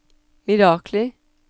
mirakler